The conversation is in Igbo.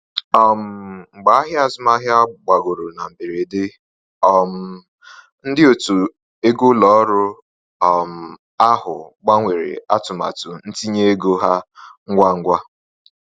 um Mgbe ahịa azụmahịa gbagoro na mberede, um ndị otu ego ụlọ ọrụ um ahụ gbanwere atụmatụ ntinye ego ha ngwa ngwa.